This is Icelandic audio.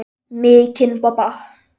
Mikinn bobba.